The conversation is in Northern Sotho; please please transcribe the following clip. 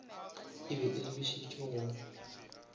e be e lebišitše go